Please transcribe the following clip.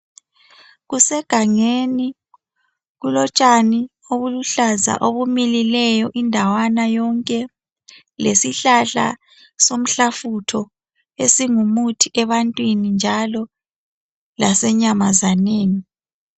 Kusegangeni. Kulotshani obuluhlaza obumilileyo indawana yonke. Lesihlahla somhlafutho, esingumuthi ebantwini, njalo lasenyamazaneni.